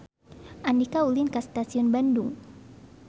Andika ulin ka Stasiun Bandung